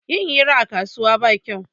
Yin hira a kasuwa ba shi kyau